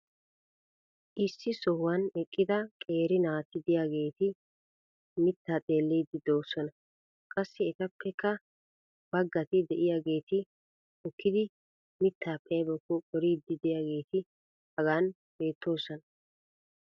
issi sohuwan eqqida qeeri naati diyaageeti mitaa xeelliidi doosona. qassi etappekka bagatti diyaageeti hookkidi mitaappe aybakko qoriidi diyaageti hagan beettoosona.